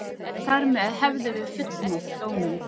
Þar með hefðum við fullnægt dóminum